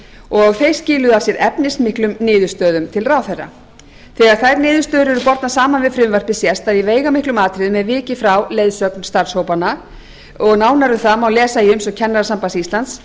og þeir skiluðu af sér efnismiklum niðurstöðum til ráðherra þegar þær niðurstöður eru bornar saman við frumvarpið sést að í veigamiklum atriðum er vikið frá leiðsögn starfshópanna og nánar um það má lesa í umsögn kennarasambands íslands